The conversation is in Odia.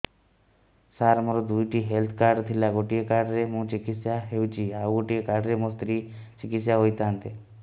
ସାର ମୋର ଦୁଇଟି ହେଲ୍ଥ କାର୍ଡ ଥିଲା ଗୋଟେ କାର୍ଡ ରେ ମୁଁ ଚିକିତ୍ସା ହେଉଛି ଆଉ ଗୋଟେ କାର୍ଡ ରେ ମୋ ସ୍ତ୍ରୀ ଚିକିତ୍ସା ହୋଇଥାନ୍ତେ